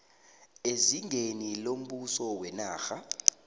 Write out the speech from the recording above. ezingeni lombuso wenarha